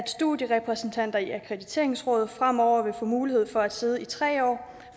studierepræsentanter i akkrediteringsrådet fremover vil få mulighed for at sidde i tre år